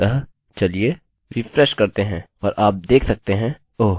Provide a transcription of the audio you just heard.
अतःचलिए रिफ्रेशrefreshकरते हैं और आप देख सकते हैं ओह!